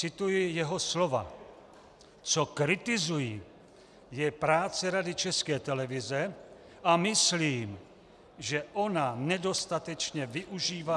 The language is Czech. Cituji jeho slova: Co kritizuji, je práce Rady České televize, a myslím, že ona nedostatečně využívá -